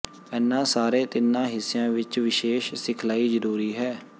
ਇਨ੍ਹਾਂ ਸਾਰੇ ਤਿੰਨਾਂ ਹਿੱਸਿਆਂ ਵਿੱਚ ਵਿਸ਼ੇਸ਼ ਸਿਖਲਾਈ ਜ਼ਰੂਰੀ ਹੈ